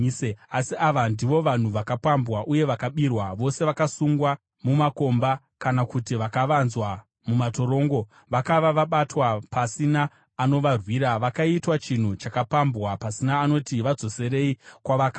Asi ava ndivo vanhu vakapambwa uye vakabirwa, vose vakasungwa mumakomba kana kuti vakavanzwa mumatorongo. Vakava vabatwa, pasina anovarwira; vakaitwa chinhu chakapambwa, pasina anoti, “Vadzoserei kwavakabva.”